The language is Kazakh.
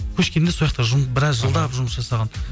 көшкенде сояқта біраз жылдап жұмыс жасаған